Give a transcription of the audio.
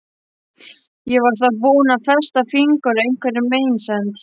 Ég var þá búin að festa fingur á einhverri meinsemd.